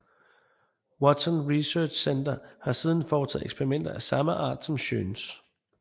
Watson Research Center har siden foretaget eksperimenter af samme art som Schöns